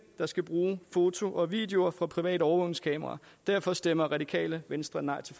der skal bruge fotos og videoer fra private overvågningskameraer derfor stemmer radikale venstre nej til